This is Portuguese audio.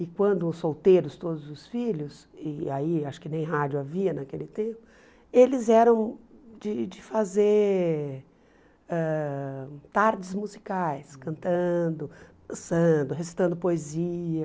E quando os solteiros, todos os filhos, e aí acho que nem rádio havia naquele tempo, eles eram de de fazer ãh tardes musicais, cantando, dançando, recitando poesia.